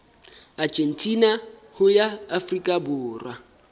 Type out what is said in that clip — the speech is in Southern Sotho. argentina ho ya afrika borwa